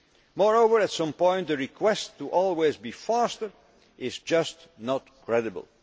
negotiation. Moreover, at some point the request to always be faster is just not